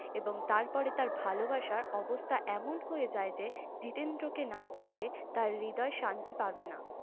এবং তার পরে তার ভালোবাসা অবস্থা এমন হয়ে যায়ে যে জিতেন্দ্র কে না দেখলে তার হৃদয় শান্তি পাবে না ।